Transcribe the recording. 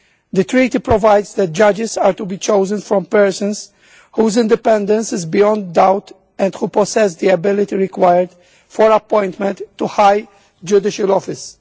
The Treaty provides that judges are to be chosen from persons whose independence is beyond doubt and who possess the ability required for appointment to high judicial office.